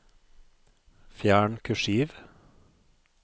Fjern kursiv